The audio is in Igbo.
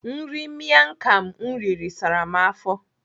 Nri miam kham m riri sara m afọ.